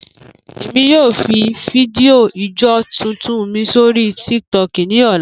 Emi yoo fi fidio ijó tuntun mi sori Tik Tok ni ọla.